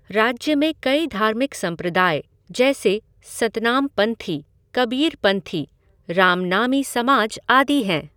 राज्य में कई धार्मिक संप्रदाय जैसे सतनामपंथी, कबीरपंथी, रामनामी समाज, आदि हैं।